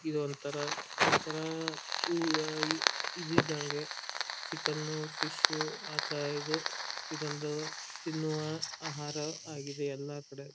ಇದೊಂತರ ಒಂತರ ಇದು ಇದ್ದಂಗೆ ಚಿಕನ್ ಫಿಶ್ ಆ ತರ ಇದು ಇದೊಂದು ತಿನ್ನುವ ಆಹಾರ ಆಗಿದೆ ಎಲ್ಲ ಕಡೆ.